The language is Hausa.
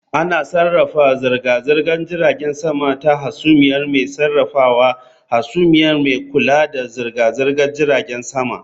Ana sarrafa zirga-zirgar jiragen sama ta hasumiya mai sarrafawa hasumiya mai kula da zirga-zirgar jiragen sama